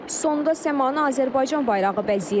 Sonda səmanı Azərbaycan bayrağı bəzəyir.